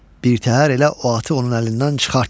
birtəhər elə o atı onun əlindən çıxart.